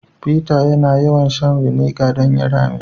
Peter yana yawan shan " vinegar " don ya rame.